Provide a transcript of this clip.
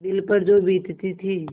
दिल पर जो बीतती थी